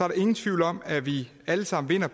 der ingen tvivl om at vi alle sammen vinder